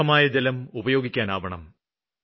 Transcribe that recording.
ശുദ്ധമായ ജലം ഉപയോഗിക്കാനാവണം